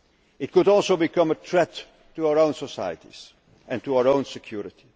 Sahel. It could also become a threat to our own societies and to our own security.